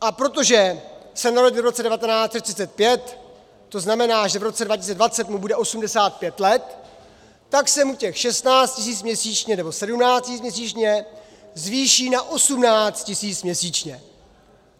A protože se narodil v roce 1935, to znamená, že v roce 2020 mu bude 85 let, tak se mu těch 16 tisíc měsíčně nebo 17 tisíc měsíčně zvýší na 18 tisíc měsíčně.